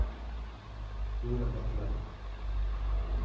Jorun Bekkelund